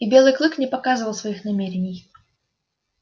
и белый клык не показывал своих намерений